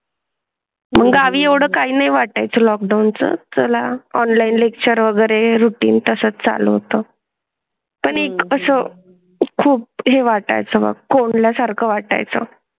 गावी ओढ काही वाटत लॉकडाऊन चं चला ऑनलाइन लेक्चर वगैरे रूटीन तसंच चालू होतं पण एक असं खूप वाटाय चं मग कोणा सारखं वाटाय चं?